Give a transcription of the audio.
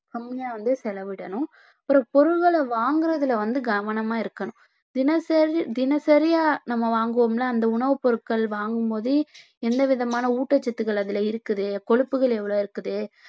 கம்மியா வந்து செலவிடணும் ஒரு பொருள்கள வாங்குறதுல வந்து கவனமா இருக்கணும் தினசரி தினசரியா நம்ம வாங்குவோம்ல அந்த உணவுப் பொருட்கள் வாங்கும்போதே எந்த விதமான ஊட்டச்சத்துக்கள் அதுல இருக்குது கொழுப்புகள் எவ்வளவு இருக்குது